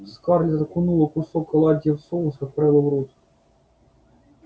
скарлетт окунула кусок оладьи в соус и отправила в рот